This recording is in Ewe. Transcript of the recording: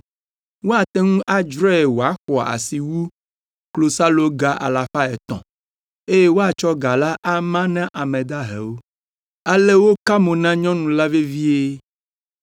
Woate ŋu adzrae wòaxɔ asi wu klosaloga alafa etɔ̃ eye woatsɔ ga la ama na ame dahewo.” Ale woka mo na nyɔnu la vevie.